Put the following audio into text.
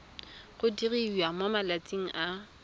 go diriwa mo malatsing a